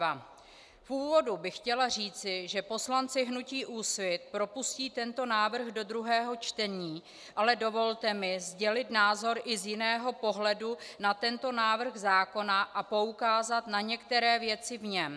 V úvodu bych chtěla říct, že poslanci hnutí Úsvit propustí tento návrh do druhého čtení, ale dovolte mi sdělit názor i z jiného pohledu na tento návrh zákona a poukázat na některé věci v něm.